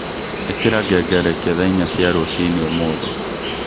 ĩkira ngengerekia thaa inya cia rũcinĩ ũmũthĩ